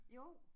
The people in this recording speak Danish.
Jo